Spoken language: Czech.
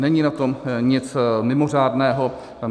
Není na tom nic mimořádného.